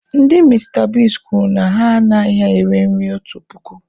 Ndị Mista Bigs kwuru na ha anaghị ere nri otu puku.